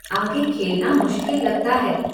आगे खेलना मुश्किल लगता है।